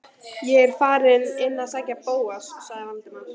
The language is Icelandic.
Ég er þá farinn inn að sækja Bóas- sagði Valdimar.